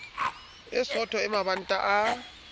e sootho e mabanta a